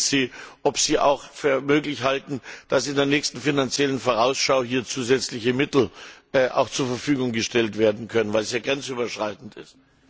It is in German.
Ich frage Sie, ob Sie es für möglich halten, dass in der nächsten Finanziellen Vorausschau zusätzliche Mittel hierfür zur Verfügung gestellt werden können, weil es ja grenzüberschreitend ist.